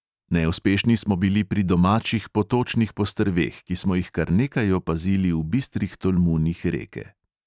Neuspešni smo bili pri domačih potočnih postrveh, ki smo jih kar nekaj opazili v bistrih tolmunih reke.